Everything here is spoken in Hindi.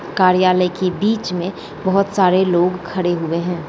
कार्यालय के बीच में बोहोत सारे लोग खड़े हुए है।